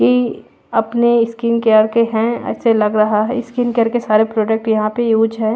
ये अपने skin care के हैं ऐसे लग रहा है स्किन केयर के सारे प्रोडक्ट यहां पे यूज है।